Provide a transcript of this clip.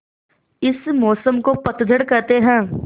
इस मौसम को पतझड़ कहते हैं